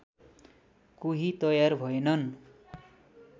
कोही तयार भएनन्